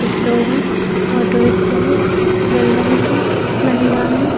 कुछ लोग हैं। ऑटो रिक्शा हैं। बिल्डिंग्स हैं। महिला है।